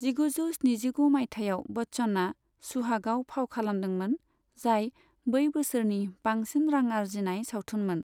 जिगुजौ स्निजिगु मायथाइयाव बच्चनआ सुहागआव फाव खालामदोंमोन जाय बै बोसोरनि बांसिन रां आर्जिनाय सावथुनमोन।